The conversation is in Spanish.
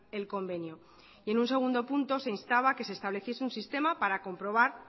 el convenio y en un segundo punto se instaba que se estableciese un sistema para comprobar